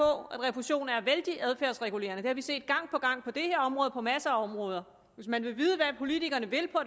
at refusionen er vældig adfærdsregulerende det har vi set gang på gang på det her område og på masser af områder hvis man vil vide hvad politikerne vil på